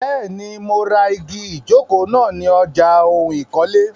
Bẹ́ẹ̀ni, mo ra igi ìjókòó mi Ni ọjà oun ìkọ́lé.